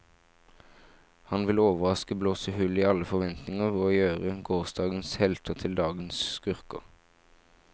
Han vil overraske, blåse hull i alle forventninger og gjøre gårsdagens helter til dagens skurker.